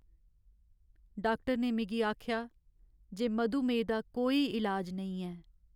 Doctor ने मिगी आखेआ जे मधुमेह दा कोई इलाज नेईं ऐ।